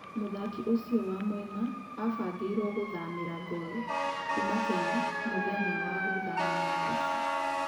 Mũthaki ũcio wa mwena abangĩiro gũthamira Gor kuma Kenya mũthenya wa gũthama wa mũico.